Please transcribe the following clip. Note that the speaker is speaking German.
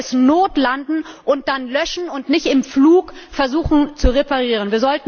Man sollte es notlanden und dann löschen und nicht im Flug versuchen, es zu reparieren.